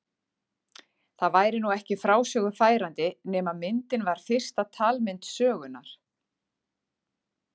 Það væri nú ekki frásögu færandi nema myndin var fyrsta talmynd sögunnar.